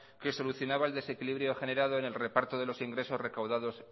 que solucionaba el desequilibrio generado en el reparto de los ingresos recaudados